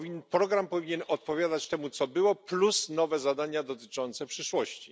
Program powinien odpowiadać temu co było, dodając nowe zadania dotyczące przyszłości.